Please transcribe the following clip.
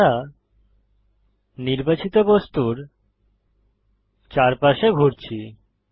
আমরা নির্বাচিত বস্তুর চারপাশে ঘুরছি